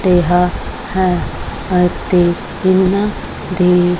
ਰਿਹਾ ਹੈ ਅਤੇ ਇਹਨਾਂ ਦੇ--